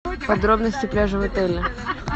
подробности пляжа в отеле